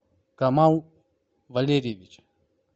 камал валерьевич